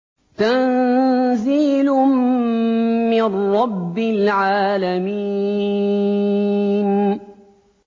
تَنزِيلٌ مِّن رَّبِّ الْعَالَمِينَ